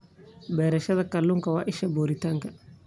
Beerashada kalluunka waa isha borotiinka.